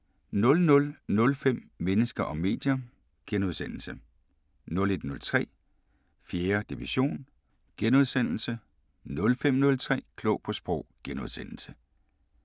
00:05: Mennesker og medier * 01:03: 4. division * 05:03: Klog på Sprog *